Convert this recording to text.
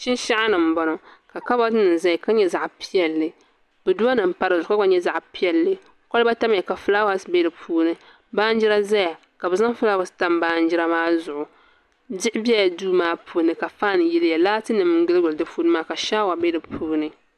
Shinsheni n boŋɔ ka kaabotinim zeya ka nya zaɣi piɛli boduwa nim gba pa dizugu ka gba nya zaɣ' piɛli koliba zaya ka fulaawaasi bɛ din ni baan jida zɛya ka bɛ fulaawatam baanjida maa zuɣu diɣi bɛla duu maa puuni ka ka faan nim yiliya ka fanim ka shawanim bɛ di puuni